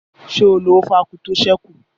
Ṣé o lo ófé ákwú tó ṣẹ́ kù?